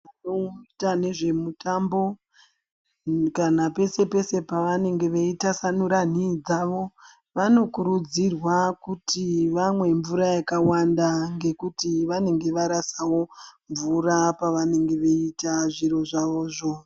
Vanoita nezvemutambo kana pese-pese pavanonga veitasanura nhii dzavo vanokurudzirwa kuti vamwe mvura yakawanda ngekuti vanenge varasawo mvura pavanenge veiita zviro zvavozvo.